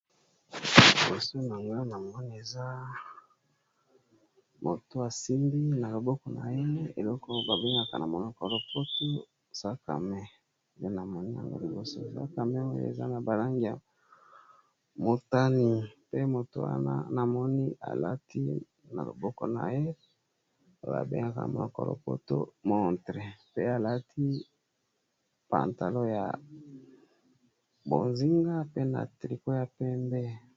Liboso na nga na moni eza moto a simbi na loboko na ye eloko ba bengaka na monoko lopoto sac à main, et na moni yango liboso sac à main oyo eza na ba langi ya motane pe moto wana na moni al ati na loboko na ye ba bengaka a monoko lopoto montre pe a lati pantalon ya bozinga pe na tricot ya pembe .